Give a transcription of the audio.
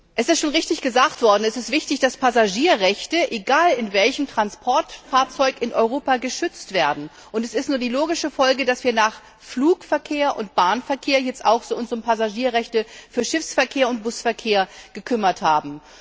Es ist schon richtig gesagt worden Es ist wichtig, dass Passagierrechte, egal in welchem Transportfahrzeug, in Europa geschützt werden, und es ist nur die logische Folge, dass wir uns nach Flug und Bahnverkehr jetzt auch um Passagierrechte für Schiffs und Busverkehr gekümmert haben.